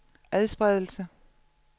adspredelse